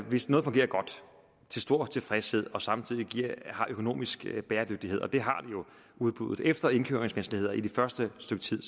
hvis noget fungerer godt og til stor tilfredshed og samtidig har økonomisk bæredygtighed og det har udbuddet jo for efter indkøringsvanskeligheder det første stykke tid